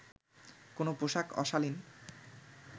কোন পোশাক অশালীন